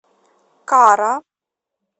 кара